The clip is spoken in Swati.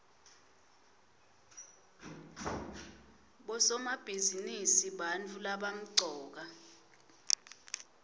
bosomabhizinisi bantfu labamcoka